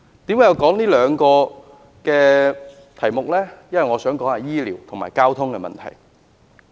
為何我要說這兩個題目？因為我想談談醫療和交通的問題。